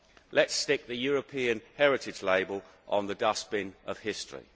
Let us stick the European heritage label on the dustbin of history.